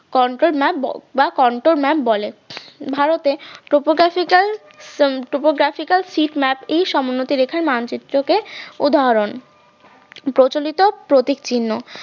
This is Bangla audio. বা conta map conto map বলে ভারতে topographical topographical sheet map সমোন্নতি রেখার মানচিত্রকে উদাহরণ, প্রচলিত প্রতীক চিহ্ন